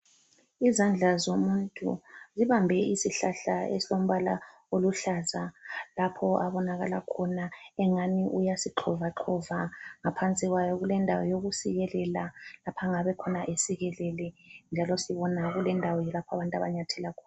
Izandla zomuntu zibambe isihlahla esilombala oluhlaza. Lapho abonakala khona engani uyasixovaxova. Ngaphansi kwawo kulendawo yokusikelela, lapha angabekhona esikelele njalo sibona kulendawo ke lapho abantu abanyethela khona.